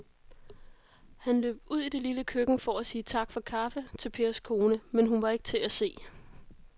Han løb ud i det lille køkken for at sige tak for kaffe til Pers kone, men hun var ikke til at se.